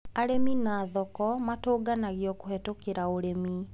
Arĩmi na thoko matũnganagio kũhĩtũkĩra ũrĩmi.